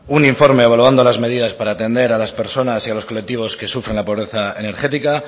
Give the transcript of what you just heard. un informe evaluando las medidas para atender a las personas y a los colectivos que sufren la pobreza energética